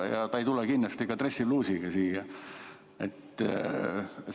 Ja ta ei tule kindlasti ka dressipluusiga siia.